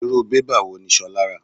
Irú bébà wò ní Sola ra?